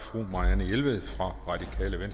ordet